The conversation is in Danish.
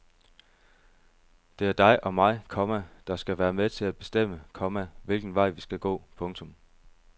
Det er dig og mig, komma der skal være med til at bestemme, komma hvilken vej vi skal gå. punktum